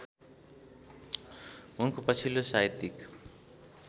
उनको पछिल्लो साहित्यिक